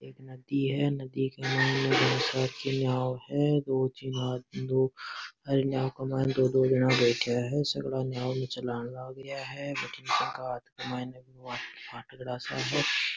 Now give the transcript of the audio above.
एक नदी है नदी के मायने बहोत सारी की नाव है दो तीन जन आदमी दो हर नाव के मायने दो दो जना बैठया है सगळा नाव ने चलान लाग रिया है बठीने बांके हाथ के माय बहुत फाटकड़ा सा है।